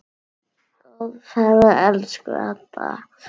Góða ferð, elsku Edda.